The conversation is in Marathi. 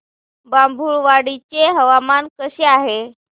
बाभुळवाडी चे हवामान कसे आहे